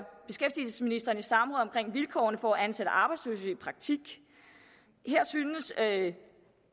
vilkårene for at ansætte arbejdsløse i praktik her syntes at